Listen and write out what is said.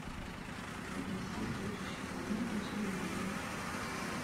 погаси следующий канал у телевизора